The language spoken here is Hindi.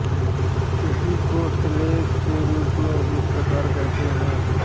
इसी को श्लोक के रूप में इस प्रकार कहते हैं